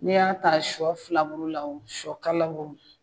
Ne y'a ta shɔ filaburu la o shɔkala o